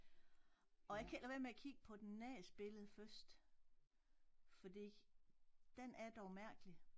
Og jeg kan ikke lade være med at kigge på den næste billede først fordi den er dog mærkelig